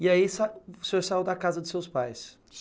E aí o senhor saiu da casa de seus pais?